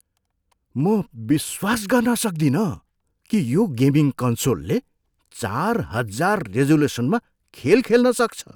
म विश्वास गर्न सक्दिन कि यो गेमिङ कन्सोलले चारहजार रिजोलुसनमा खेल खेल्न सक्छ।